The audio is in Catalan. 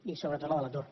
i sobretot la de l’atur